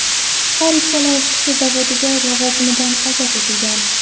Har ikkala ishchi zavoddagi lavozimidan ozod etilgan.